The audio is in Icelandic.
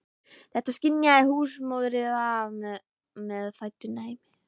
Þetta skynjaði húsmóðirin af meðfæddu næmi.